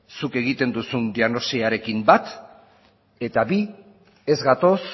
zuk egiten duzun diagnosiarekin bat eta bi ez gatoz